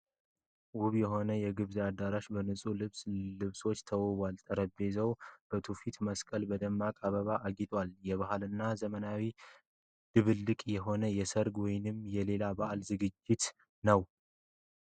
ውብ የሆነ የግብዣ አዳራሽ በንጹህ ነጭ ልብሶች ተውቧል። ጠረጴዛዎቹ በትውፊት መስቀልና በደማቅ አበባዎች አጊጠዋል። የባህልና የዘመናዊነት ድብልቅ የሆነ የሠርግ ወይም የሌላ በዓል ዝግጅት ነው።